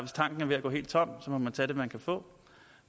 tanken er ved at gå helt tom må man tage det man kan få